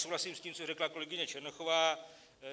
Souhlasím s tím, co řekla kolegyně Černochová.